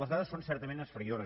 les dades són certament esfereïdores